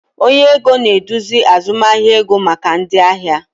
Onye ego na-eduzi azụmahịa ego maka ndị ahịa